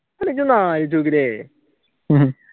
ഇജ്ജ് ഒന്ന് ആലോചിച്ചു നോക്കിയിട്ടേ